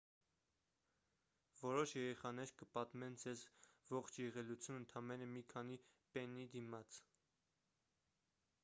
որոշ երեխաներ կպատմեն ձեզ ողջ եղելությունն ընդամենը մի քանի պեննի դիմաց